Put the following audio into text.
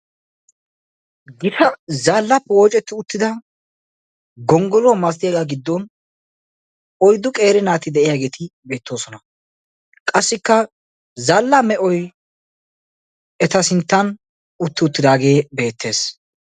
Gita zaallaappe woocettida gonggoluwa masatoyagaa giddon oyddu qeeri naati diyageeti beettoosona. Qassikka zaallaa me'oyi eta sinttan utti uttidaagee beettes.